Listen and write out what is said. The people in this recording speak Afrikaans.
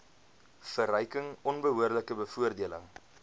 verryking onbehoorlike bevoordeling